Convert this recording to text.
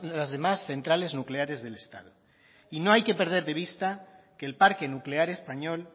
las demás centrales nucleares del estado y no hay que perder de vista que el parque nuclear español